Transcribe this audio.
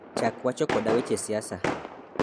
Chak wacho koda weche siasa